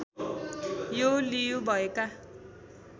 यो लियु भएका